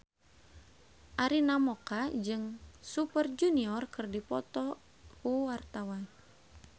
Arina Mocca jeung Super Junior keur dipoto ku wartawan